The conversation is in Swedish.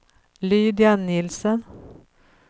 Lydia Nielsen